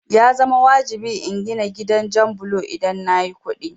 Ya zama wajibi in gina gidan jan bulo idan nayi kuɗi